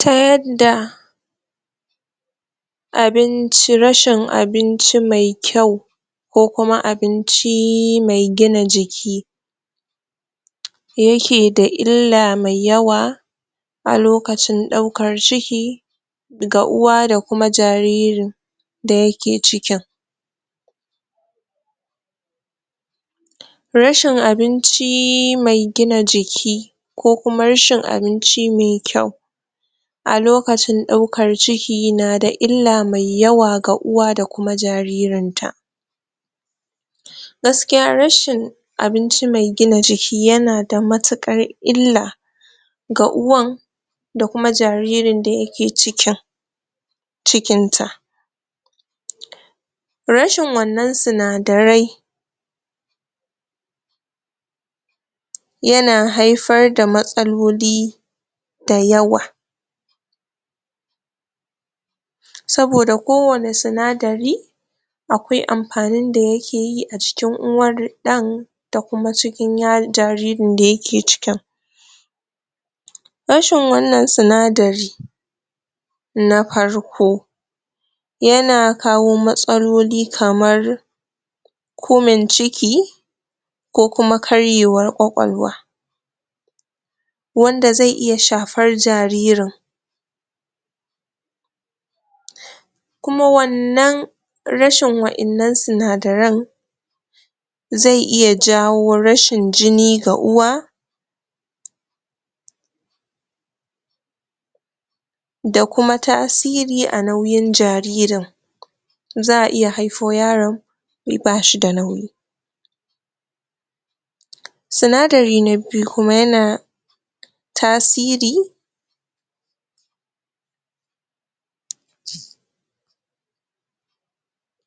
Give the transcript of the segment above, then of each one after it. ta yanda abinci rashin abinci me kyau ko kuma abinci me gina jiki yake da illa mai yawa a lokacin ɗaukar ciki ga uwa da kuma jaririn da yake cikin rashin abinci me gina jiki ko kuma rashin abinci me kyau a lokacin ɗaukar ciki nada illa mai yawa ga uwa da kuma jaririnta gaskiya rashin abinci me gina jiki yana da matuƙar illa ga uwan da kuma jaririn da yake cikin cikin ta rashin wannan sinadarai yana haifar da matsaloli da yawa saboda kowanne sinadari akwai amfanin da yake yi a jikin uwar ɗan da kuma cikin um jaririn da yake cikin rashin wannan sinadari na farko yana kawo matsaloli kamar kumin ciki ko kuma karyewar ƙwaƙwalwa wanda ze iya shafar jaririn kuma wannan rashin waƴannan sinadaran ze iya jawo rashin jini ga uwa da kuma tasiri a nauyin jaririn za'a iya haifu yaron bashi da nauyi sinadari na biyu kuma yana tasiri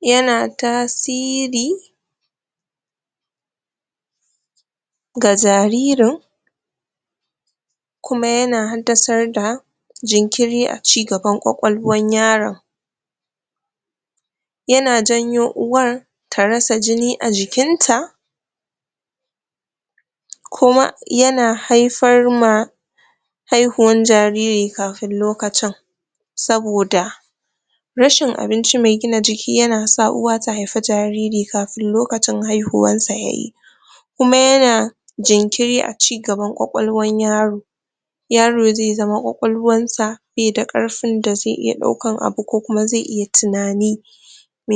yana tasiri ga jaririn kuma yana haddasar da jinkiri a ci gaban ƙwaƙwalwan yaron yana janyo uwar ta rasa jini a jikin ta kuma yana haifar ma haihuwar jariri kafin lokacin saboda rashin abinci me gina jiki yana sa uwa ta haifi jariri kafin lokacin haihuwarsa yayi kuma yana jinkiri a ci gaban ƙwaƙwalwan yaro yaro ze zama ƙwaƙwalwansa be da ƙarfin da ze iya daukan abu ko kuma ze iya tuna ni